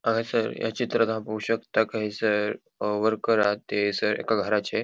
हांगासर या चित्रांत हांव पोळो शकता कि हयसर अ वर्कर आहात तेयंसर एका घराचे.